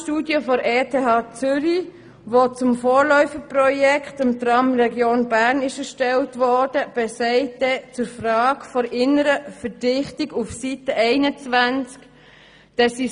Die von der ETH-Zürich erstellte Weidmann-Studie sagt zur Frage der inneren Verdichtung auf Seite 21: